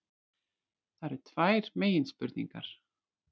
Það eru tvær meginspurningar